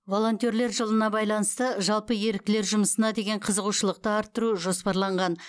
волонтерлер жылына байланысты жалпы еріктілер жұмысына деген қызығушылықты арттыру жоспарланған